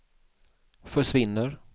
försvinner